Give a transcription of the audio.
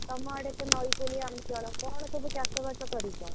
ତମ ଆଡେ ତ ନଈ କୂଳିଆ ଅଞ୍ଚଳ କଣ ସବୁ ଚାଷବାଷ କରିଛ?